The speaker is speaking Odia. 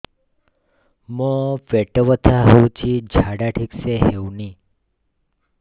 ମୋ ପେଟ ବଥା ହୋଉଛି ଝାଡା ଠିକ ସେ ହେଉନି